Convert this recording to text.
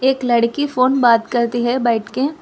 एक लड़की फोन बात करती है बैठ के।